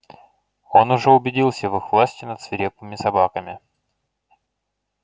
он уже убедился в их власти над свирепыми собаками